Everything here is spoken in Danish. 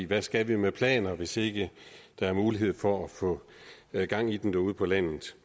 hvad skal vi med planer hvis ikke der er mulighed for at få gang i den derude på landet